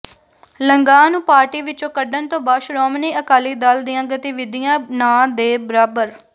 ਲੰਗਾਹ ਨੂੰ ਪਾਰਟੀ ਵਿੱਚੋਂ ਕੱਢਣ ਤੋਂ ਬਾਅਦ ਸ਼੍ਰੋਮਣੀ ਅਕਾਲੀ ਦਲ ਦੀਆਂ ਗਤੀਵਿਧੀਆਂ ਨਾਂਹ ਦੇ ਬਰਾਬਰ